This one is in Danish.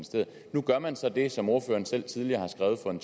nu gør man så det som ordføreren selv tidligere skrev for en